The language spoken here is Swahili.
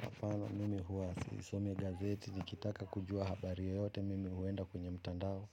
Hapana, mimi huwa sisomi gazeti nikitaka kujua habari yoyote mimi huenda kwenye mtandao